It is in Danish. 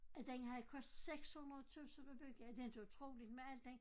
At den havde kostet 600 tusind at bygge er det inte utroligt med al den